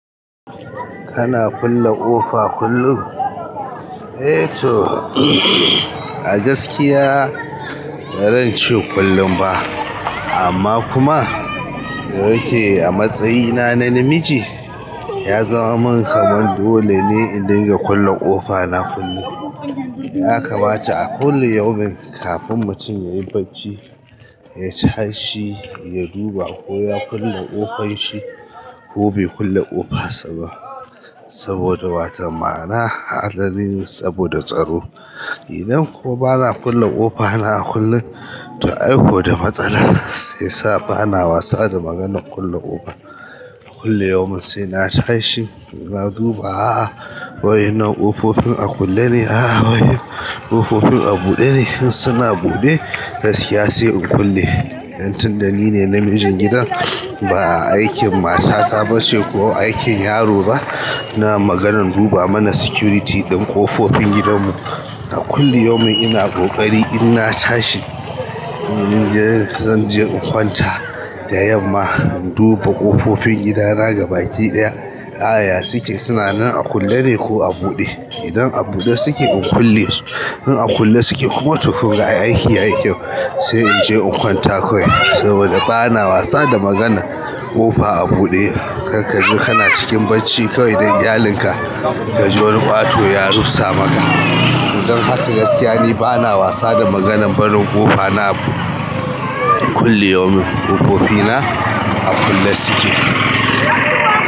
Kana kulle ƙofa kullum? Eh to, a gaskiya ba zan ce kullum ba amma kuma dayake a matsayina na namiji, ya zama min kamar dole ne in dinga kulle ƙofa na kullum. Ya kamata a kullu yaumin, kafin mutum yayi barci, ya tashi ya duba ko ya kulle ƙofar shi ko bai kulle ƙofar saba saboda waton ma'ana agani saboda tsaro. Idan kuwa bana kulle ƙofa na a kullum, to ai kuwa da matsala ba na wasa da maganar kulle ƙofa. Kullu yaumin sai na tashi na duba a'a wadan nan ƙofofin a kulle ne? A'a waye ƙofofin a buɗe ne? In suna buɗe, gaskiya sai in kulle. Dan tun da ni ne namijin gidan ba aikin matata bace ko aikin yaro ba. Na maganan duba mana security din ƙofofin gidan mu. A kullum ina ƙoƙari inna tashi in zanje in kwanta da yamma in duba ƙofofin gida na gaba ɗaya, a'a ya suke? Suna nan a kulle ne ko a buɗe? Idan a buɗe suke in kulle su. In a kulle suke kuma to aiki yayi kyau. Sai in je in kwanta kawai saboda ba na wasa da maganar ƙofa a buɗe. Kar kaje kana cikin barci kawai da iyalinka ka ji wani ƙato ya rufsa maka. Don haka gaskiya ni ba na wasa da maganan barin ƙofa na a kullum. Ƙofofi na a kulle suke.